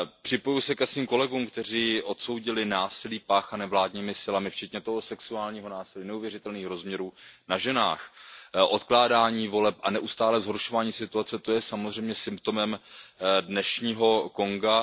Připojuji se ke svým kolegům, kteří odsoudili násilí páchané vládními silami, včetně toho sexuálního násilí neuvěřitelných rozměrů na ženách, odkládání voleb a neustálé zhoršování situace, to je samozřejmě symptomem dnešního Konga.